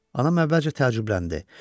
Anam əvvəlcə təəccübləndi.